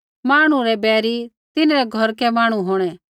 मांहणु रै बैइरी तिन्हरै घौरकै मांहणु होंणै